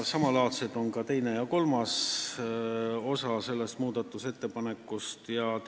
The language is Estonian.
Samalaadsed on ka selle muudatusettepaneku teine ja kolmas osa.